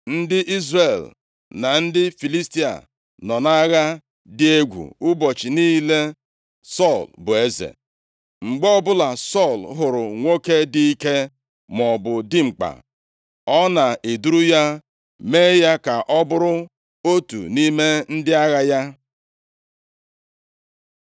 Ndị Izrel na ndị Filistia nọ nʼagha dị egwu ụbọchị niile Sọl bụ eze. Mgbe ọbụla Sọl hụrụ nwoke dị ike, maọbụ dimkpa, ọ na-eduru ya mee ya ka ọ bụrụ otu nʼime ndị agha ya.